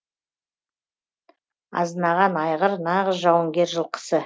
азынаған айғыр нағыз жауынгер жылқысы